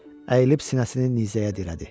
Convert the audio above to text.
Əyilib sinəsini nizəyə dirədi.